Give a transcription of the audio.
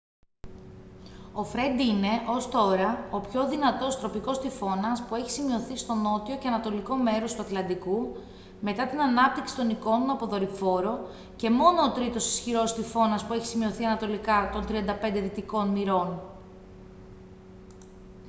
ο φρεντ είναι ως τώρα ο πιο δυνατός τροπικός τυφώνας που έχει σημειωθεί στο νότιο και ανατολικό μέρος του ατλαντικού μετά την ανάπτυξη των εικόνων από δορυφόρο και μόνο ό τρίτος ισχυρός τυφώνας που έχει σημειωθεί ανατολικά των 35 δυτικών μοιρών